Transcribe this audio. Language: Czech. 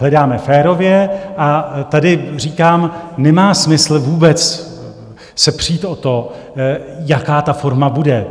Hledáme férově, a tady říkám, nemá smysl vůbec se přít o to, jaká ta forma bude.